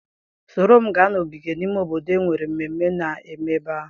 Soro m gaa n'ogige ime obodo enwere mmemme na-eme ebe ahụ.